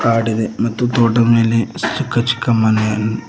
ಕಾಡಿದೆ ಮತ್ತು ತೋಟ್ಟದ್ ಮೇಲೆ ಚಿಕ್ಕ ಚಿಕ್ಕ ಮನೆಯನ್--